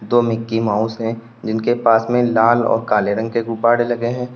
दो Mickey Mouse है जिनके पास में लाल और काले रंग के गुब्बारे लगे हैं।